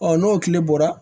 n'o tile bɔra